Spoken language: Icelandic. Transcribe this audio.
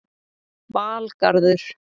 Valgarður